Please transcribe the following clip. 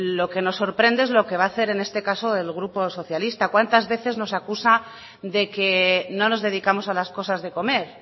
lo que nos sorprende es lo que va a hacer en este caso el grupo socialista cuantas veces nos acusa de que no nos dedicamos a las cosas de comer